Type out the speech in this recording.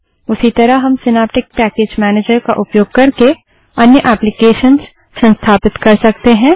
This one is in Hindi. उसी तरह हम सिनैप्टिक पैकेज मैनेजर का उपयोग करके अन्य एप्लीकेशन्स संस्थापित कर सकते हैं